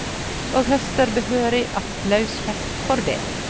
Og høster behørig applauskjeft for det.